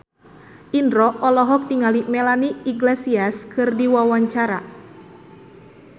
Indro olohok ningali Melanie Iglesias keur diwawancara